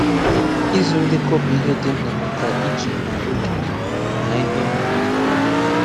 Ịzụ ndekọ bụ ihe dị mkpa maka ijikwa oge na ihe ọmụma nke ọma.